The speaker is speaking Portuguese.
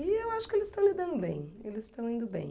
E eu acho que eles estão lidando bem, eles estão indo bem.